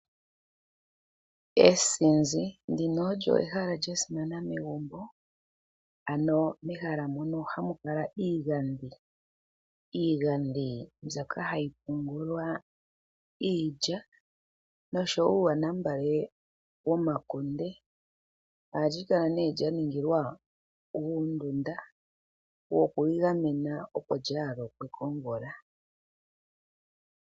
Eenzinzi ndino olyo ehala lyasimana megumbo ano mehala mono hamulala iigadhi, iigadhi mbyoka hayi pungulwa iilya noshowo uuyanambale womakunde, alikala ne lyaningilwa uundunda wokwigamena opo lyalokwe komvula.